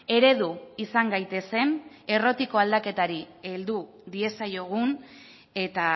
eredu izan gaitezen errotiko aldaketari heldu diezaiogun eta